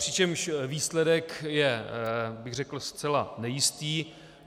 Přičemž výsledek je, bych řekl, zcela nejistý.